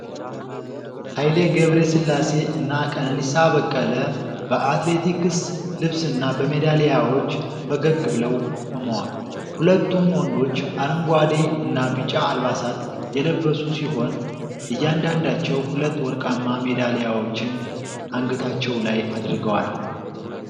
ሀይሌ ገብረስላሴ እና ቀነኒሳ በቀለ በአትሌቲክስ ልብስና በሜዳሊያዎች ፈገግ ብለው ቆመዋል። ሁለቱም ወንዶች አረንጓዴ እና ቢጫ አልባሳት የለበሱ ሲሆን፤ እያንዳንዳቸው ሁለት ወርቃማ ሜዳሊያዎችን አንገታቸው ላይ አድርገዋል።